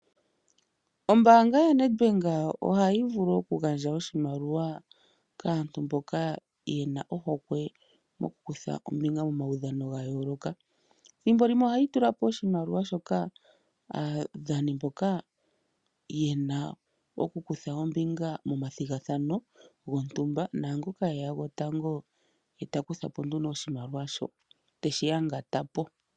Ombaanga yaNedbank ohayi vulu okugandja oshimaliwa kaantu mboka yena ohokwe mokukutha ombinga momawudhano gayooloka. Ethimbo limwe ohayi tula po oshimaliwa shoka aadhani mboka yena okukutha ombinga momathigathano gontumba naangoka eya gotango ye takutha po nduno oshimaliwa sho, teshiyangata po.